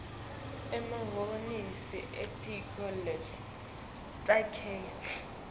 emahhovisi elitiko letasekhaya